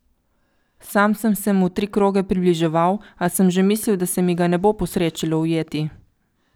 Sam sem se mu tri kroge približeval, a sem že mislil, da se mi ga ne bo posrečilo ujeti.